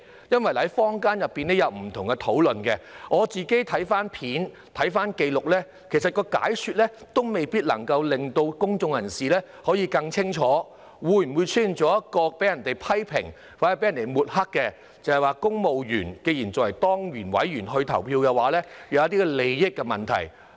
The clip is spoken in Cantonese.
因為坊間有不同的討論，我曾翻看片段和紀錄，其實當局的解說也未必能夠令公眾人士更加清楚，會否因而被人批評或抹黑，指公務員以當然委員的身份投票，會出現利益問題呢？